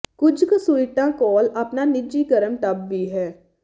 ਕੁਝ ਕੁ ਸੂਈਟਾਂ ਕੋਲ ਆਪਣਾ ਨਿੱਜੀ ਗਰਮ ਟੱਬ ਵੀ ਹੈ